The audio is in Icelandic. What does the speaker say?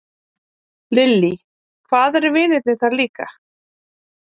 Lillý: Hvað eru vinirnir þar líka?